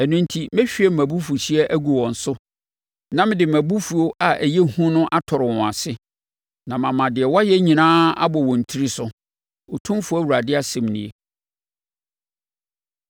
Ɛno enti, mɛhwie mʼabufuhyeɛ agu wɔn so, na mede mʼabufuo a ɛyɛ hu no atɔre wɔn ase, na mama deɛ wɔayɛ nyinaa abɔ wɔn tiri so, Otumfoɔ Awurade asɛm nie.”